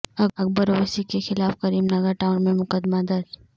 اکبر اویسی کے خلاف Karimnagar town میں مقدمہ درج